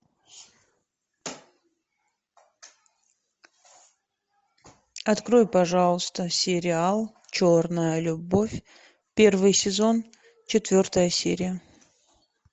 открой пожалуйста сериал черная любовь первый сезон четвертая серия